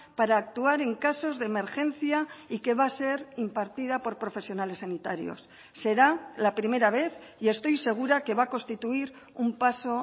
para actuar en casos de emergencia y que va a ser impartida por profesionales sanitarios será la primera vez y estoy segura que va a constituir un paso